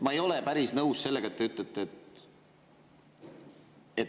Ma ei ole päris nõus sellega, mis te ütlete.